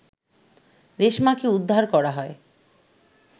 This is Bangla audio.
রেশমাকে উদ্ধার করা হয়